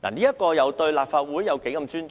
此舉對立法會有欠尊重。